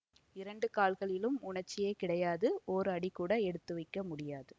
இரண்டு கால்களிலும் உணர்ச்சியே கிடையாது ஓர் அடி கூட எடுத்து வைக்க முடியாது